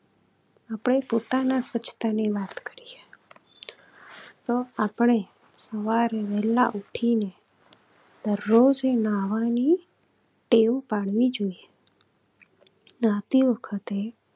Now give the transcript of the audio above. આપણે પોતાના સ્વચ્છતાની વાત કરીએ તો આપણે સવારે વહેલા ઉઠીને દરરોજ નહાવાની ટેવ પાડવી જોઈએ. નહાતી વખતે